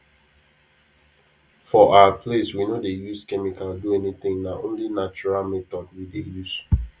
for our place we no dey use chemical do anything na only natural method we dey use